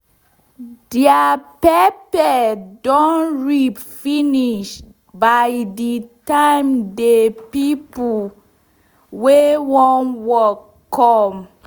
deir pepper don ripe finish by de time de pipo wey wan work come